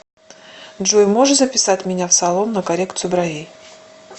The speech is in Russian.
джой можешь записать меня в салон на коррекцию бровей